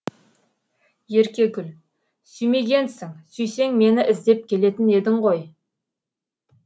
еркегүл сүймегенсің сүйсең мені іздеп келетін едің ғой